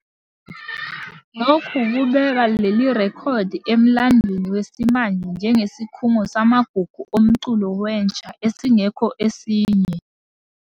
Lokhu kubeka leli rekhodi emlandweni wesimanje njengesikhungo samagugu omculo wentsha esingekho esinye.